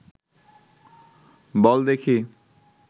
বল দেখি